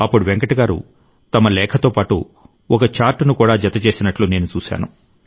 అప్పుడు వెంకట్ గారు తమ లేఖ పాటు ఒక చార్టు ను కూడా జత చేసినట్టు నేను చూశాను